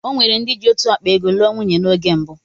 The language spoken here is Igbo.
Ọnwere ndị jị otú ákpá ego'lụọ nwunye na oge mbụ.